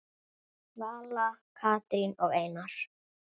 Vala, Katrín og Einar.